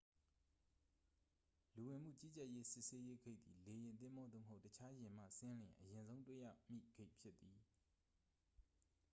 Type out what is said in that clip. လူဝင်မှုကြီးကြပ်ရေး စစ်ဆေးရေးဂိတ်သည် လေယာဉ် သင်္ဘော သို့မဟုတ် တခြားယာဉ်မှဆင်းလျှင် အရင်ဆုံးတွေ့ရမည့် ဂိတ်ဖြစ်သည်